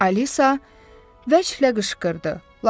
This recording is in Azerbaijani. Alisa vəhşicə qışqırdı.